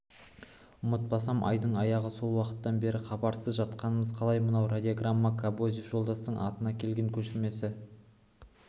ұмытпасам айдың аяғы сол уақыттан бері хабарсыз жатқанымыз қалай мынау радиограмманың кобозев жолдастың атына келген көшірмесі